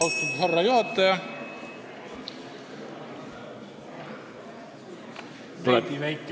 Austatud härra juhataja!